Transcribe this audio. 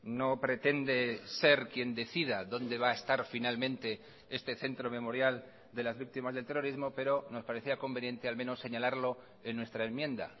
no pretende ser quien decida dónde va a estar finalmente este centro memorial de las víctimas del terrorismo pero nos parecía conveniente al menos señalarlo en nuestra enmienda